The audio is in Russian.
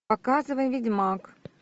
показывай ведьмак